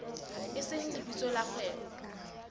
e seng lebitso la kgwebo